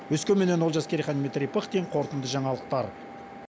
өскеменнен олжас керейхан дмитрий пыхтин қорытынды жаңалықтар